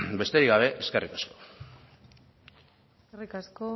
besterik gabe eskerrik asko eskerrik asko